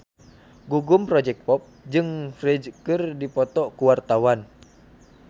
Gugum Project Pop jeung Ferdge keur dipoto ku wartawan